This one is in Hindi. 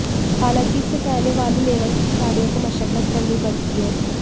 हालांकि इससे पहले वाले लेवल के खिलाडि़यों को मशक्कत करनी पड़ती है